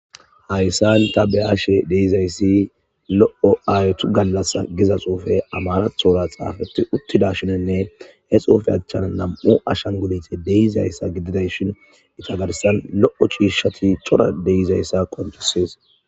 hayssan ta beashe deizayssi lo7o aytu gallas giza xuufe amarathora xaafeti uttida shinenne he xuufe achchan nam7u ashanguniti deizayssa gididay shin itagarsan lo7o chiishshati cora deizayssa koncisees